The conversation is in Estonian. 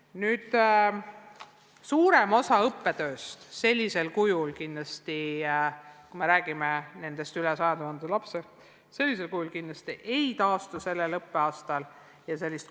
Nüüd, suurem osa õppetööst tavalisel kujul – kui räägime nendest rohkem kui 100 000 lapsest – kindlasti sellel õppeaastal ei taastu.